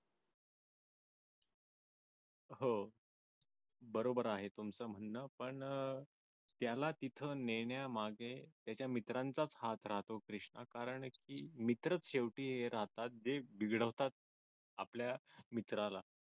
हो बरोबर आहे तुमचं म्हणणं पण त्याला तिथं नेन्यामागे त्याच्या मित्रांचाच हात राहतो क्रिष्णा कारंकी मित्रच शेवटी राहतात जे बिघडवतात आपल्या मित्राला